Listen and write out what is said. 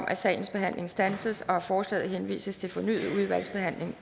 at sagens behandling standses og at forslaget henvises til fornyet udvalgsbehandling